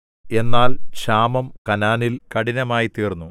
എന്നാൽ ക്ഷാമം കനാനില്‍ കഠിനമായി തീർന്നു